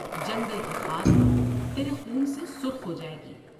جنگل کی خاک تیرے خون سے سرخ ہو جاۓ گی ۔